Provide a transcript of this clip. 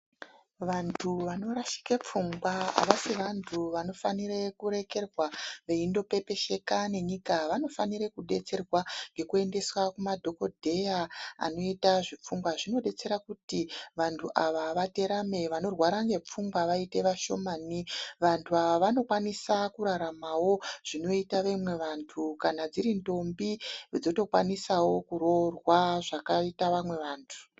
Vantu vanorashika pfungwa avasi vantu vanofanira kurekerwa veindopepesheka nenyika vanofanira kudetserwa ngekuendeswa kuma dhokodheya anoita zvepfungwa zvinodetsera kuti vantu ava vaterame vantu vanorwara ngepfungwa vaite vashomani. Vantu ava vanokwanisa kuraramawo zvinoita vamwe vantu. Kana dziri ntombi dzotokwanisawo kuroorwa zvakaita vamwe vantu